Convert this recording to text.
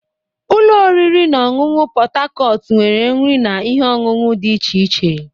Ụlọ oriri na ọṅụṅụ Pot Tarcot nwere nri na ihe ọṅụṅụ dị iche iche.